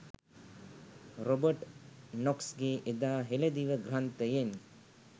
Robert නොක්ස්ගේ එදා හෙළදිව ග්‍රන්ථයෙන්